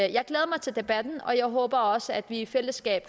jeg glæder mig til debatten og jeg håber også at vi i fællesskab